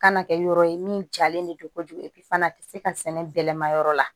Kana kɛ yɔrɔ ye min jalen de don ko jugu fana tɛ se ka sɛnɛ bɛlɛma yɔrɔ la